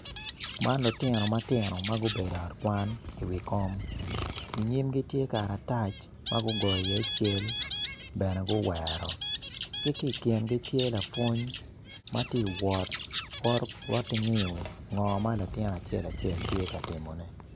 Man lutino ma tino ma gubedo i ot kwan i wi kom inyimgi tye karatac ma gugoyo i iye cal bene guwero ki ki ikingi tye lapwony ma ti wot wot ngiyo ngo ma latin acel acel tye ka timone